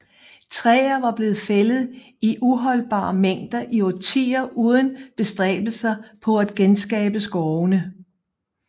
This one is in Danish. Træer var blevet fældet i uholdbare mængder i årtier uden bestræbelser på at genskabe skovene